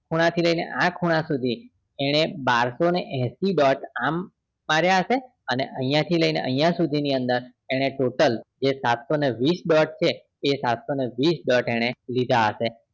આ ખૂણા થી લઈને આ ખૂણા સુધી એને બારસો ને એંશી dot આમ માર્યા હશે અને આહિયા થી લઈને અહિયાં સુધી ની અંદર એને total જે સાતસો ને વીસ dot છે એ સાતસો ને વીસ dot એને લીધા હશે